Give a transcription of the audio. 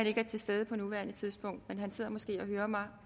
ikke er til stede på nuværende tidspunkt men han sidder måske et og hører mig